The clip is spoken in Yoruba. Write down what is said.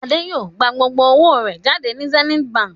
Adé yóò gbà gbogbo owó rẹ̀ jáde ní Zenith Báńkì.